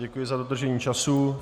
Děkuji za dodržení času.